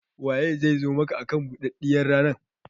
Waye zai zo maka akan buɗaɗɗiyar rana?